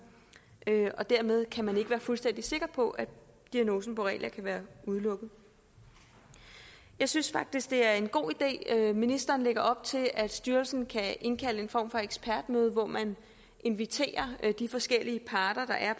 dermed kan man ikke være fuldstændig sikker på at diagnosen borrelia kan udelukkes jeg synes faktisk det er en god idé at ministeren lægger op til at styrelsen kan indkalde til en form for ekspertmøde hvor man inviterer de forskellige parter